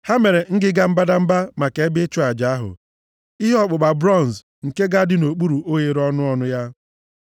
Ha mere ngịga mbadamba maka ebe ịchụ aja ahụ, ihe ọkpụkpa bronz, nke ga-adị nʼokpuru oghere ọnụ ọnụ ya.